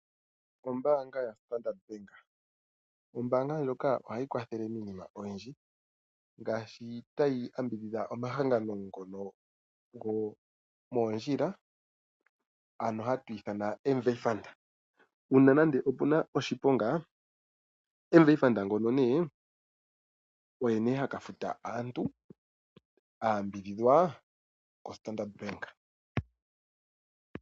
Ombaanga yo Standard bank Ombaanga ndjoka ohayi kwathele miinima oyindji ngaashi tayi ambidhidha omahangano ngono gomoondjila ano hatu ithana MVA fund, uuna nande opuna oshiponga MVA fund ngono nee, oye nee haka futa aantu a yambidhidhwa ko Standard bank.